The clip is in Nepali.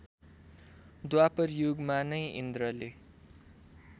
द्वापरयुगमा नै इन्द्रले